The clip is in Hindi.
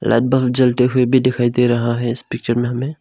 लाइट बल्ब जलते हुए भी दिखाई दे रहा है इस पिक्चर में हमे--